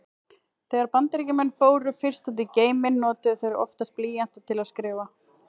Þegar Bandaríkjamenn fóru fyrst út í geiminn notuðu þeir því oftast blýanta til að skrifa.